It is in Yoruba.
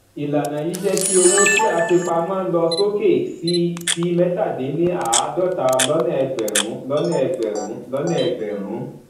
ìlànà yí jé kí owó tí a fi pamọ lọ sókè sí sí mẹta din ní àádọta lọnà egberun lọnà egberun lọnà egberun